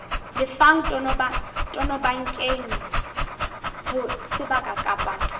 lefang tonobankeng ho sebaka kapa